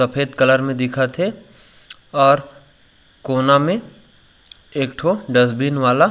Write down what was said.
सफ़ेद कलर में दिखत हे और कोना में एक ठो डस्टबिन वाला--